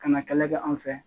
Ka na kɛlɛ kɛ an fɛ yan